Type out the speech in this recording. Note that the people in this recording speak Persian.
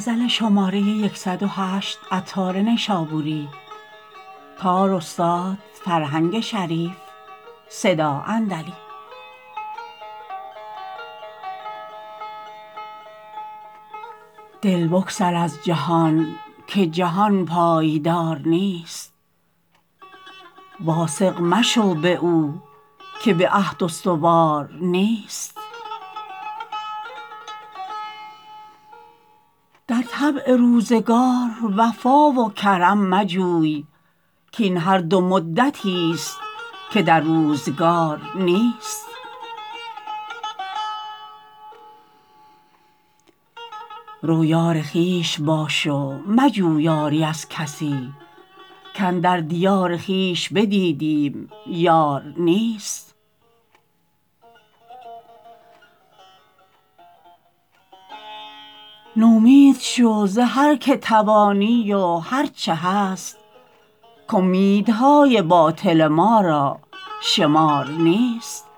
دل بگسل از جهان که جهان پایدار نیست واثق مشو به او که به عهد استوار نیست در طبع روزگار وفا و کرم مجوی کین هر دو مدتی است که در روزگار نیست رو یار خویش باش و مجو یاری از کسی کاندر دیار خویش بدیدیم یار نیست نومید شو ز هر که توانی و هرچه هست کامیدهای باطل ما را شمار نیست